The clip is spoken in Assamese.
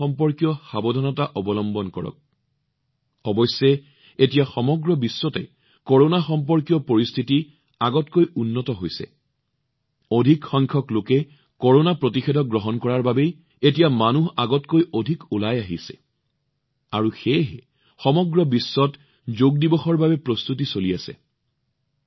কৰোনা সম্পৰ্কীয় সাৱধানতা অৱলম্বন কৰক অৱশ্যে এতিয়া সমগ্ৰ বিশ্বত কৰোনা সম্পৰ্কীয় পৰিস্থিতি পূৰ্বৰ তুলনাত অলপ ভাল যেন লাগিছে অধিক সংখ্যক টীকাকৰণৰ বাবে এতিয়া মানুহ আগতকৈ অধিক ওলাই আহিছে সেয়েহে সমগ্ৰ বিশ্বত যোগ দিৱসৰ বাবে যথেষ্ট প্ৰস্তুতি আৰম্ভ হৈছে